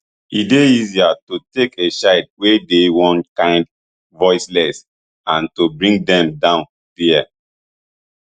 e dey easier to take a child wey dey one kind voiceless and to bring dem down dia